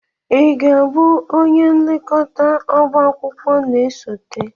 ị ga-abụ onye nlekọta ọba akwụkwọ na-esote?